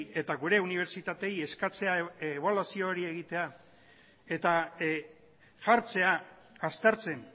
eta gure unibertsitateei eskatzea ebaluazio hori egitea eta jartzea aztertzen